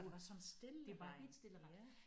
Det var sådan stille det var helt stille ret